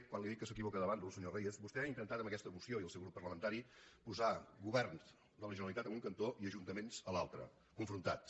quan li dic que s’equivoca de bàndol senyor reyes vostè ha intentat amb aquesta moció i el seu grup parlamentari posar govern de la generalitat en un cantó i ajuntaments a l’altre confrontats